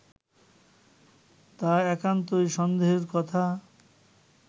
তা একান্তই সন্দেহের কথা